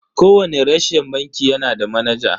Kowani reshen banki yanada manaja.